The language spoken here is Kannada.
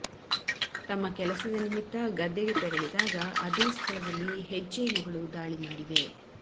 ತಮ್ಮ ಕೆಲಸದ ನಿಮಿತ್ತ ಗದ್ದೆಗೆ ತೆರಳಿದಾಗ ಅದೇ ಸ್ಥಳದಲ್ಲಿ ಹೆಜ್ಜೆನುಗಳು ದಾಳಿ ಮಾಡಿವೆ